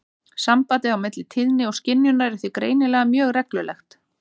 Sambandið á milli tíðni og skynjunar er því greinilega mjög reglulegt.